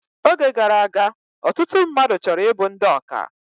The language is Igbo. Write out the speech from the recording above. Oge gara aga, ọtụtụ mmadụ chọrọ ịbụ ndị ọkà